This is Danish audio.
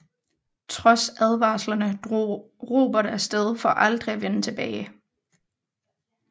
Trods advarslerne drog Robert af sted for aldrig at vende tilbage